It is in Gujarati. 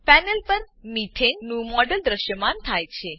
પેનલ પર મેથાને મીથેન નું મોડેલ દ્રશ્યમાન થાય છે